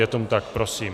Je tomu tak, prosím.